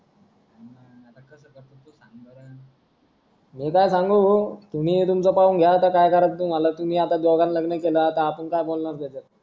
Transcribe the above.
मी काय सांगू भो तुम्ही तुमचं पाहून घ्या आता काय करायचं तुम्हाला तुम्ही आता दोघांनी लग्न केलं आता आपण काय बोलणार त्याच्यात